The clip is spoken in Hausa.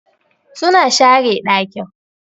suna share dakin.